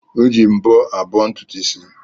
Eji mbọ abọ́ ntutu isi.